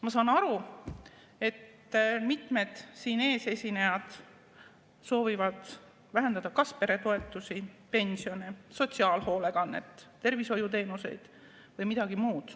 Ma saan aru, et mitmed siin ees esinejad soovivad vähendada kas peretoetusi, pensione, sotsiaalhoolekannet, tervishoiuteenuseid või midagi muud.